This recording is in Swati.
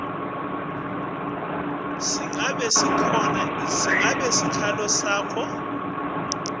ngabe sikhalo sakho